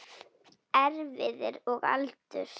Erfðir og aldur